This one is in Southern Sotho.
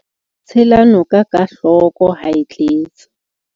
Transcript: Tshela noka ka hloko ha e tletse.